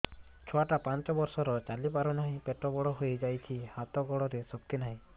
ଛୁଆଟା ପାଞ୍ଚ ବର୍ଷର ଚାଲି ପାରୁ ନାହି ପେଟ ବଡ଼ ହୋଇ ଯାଇଛି ହାତ ଗୋଡ଼ରେ ଶକ୍ତି ନାହିଁ